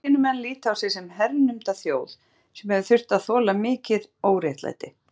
Palestínumenn líta á sig sem hernumda þjóð sem hefur þurft að þola mikið óréttlæti.